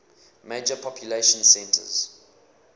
major population centers